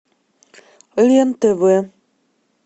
лен тв